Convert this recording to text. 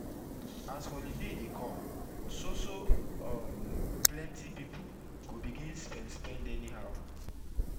as holiday dey come so so um plenti pipu go begin spend spend anyhow